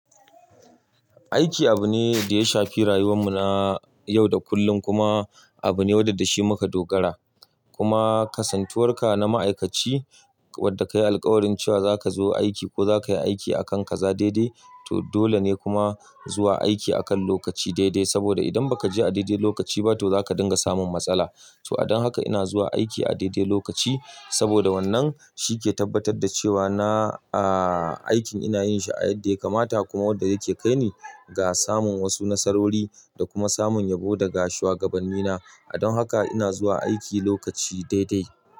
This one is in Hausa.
Aiki abu ne da ya shafi rayuwarmu na yau da kullum, kuma abu ne wanda da shi muka dogara. Kuma ƙasantuwar ka na ma'aikaci, wadda ka yi alƙawarin cewa za ka zo aiki ko za ka yi aiki akan ka za daidai, to dole ne kuma zuwa aiki akan lokaci daidai, saboda idan baka je a daidai lokaci ba to zaka dinga samun matsala. To a dan haka, ina zuwa aiki a daidai lokaci, saboda wannan shi ke tabbatar da cewa na a aikin ina yin shi a yadda ya kamata, kuma wadda yake kai ni ga samun wasu nasarori da kuma samun yabo daga shugabanni na. A dan haka ina zuwa aiki lokaci daidai.